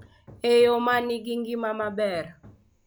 E yo ma nigi ngima maber,